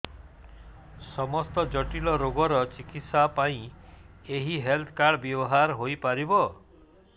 ସମସ୍ତ ଜଟିଳ ରୋଗର ଚିକିତ୍ସା ପାଇଁ ଏହି ହେଲ୍ଥ କାର୍ଡ ବ୍ୟବହାର ହୋଇପାରିବ